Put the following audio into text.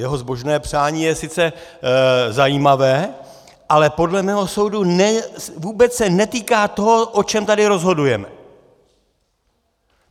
Jeho zbožné přání je sice zajímavé, ale podle mého soudu se vůbec netýká toho, o čem tady rozhodujeme.